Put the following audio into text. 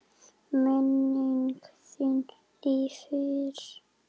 Minning þín lifir.